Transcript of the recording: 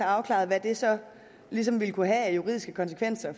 afklaret hvad det så ligesom ville kunne have af juridiske konsekvenser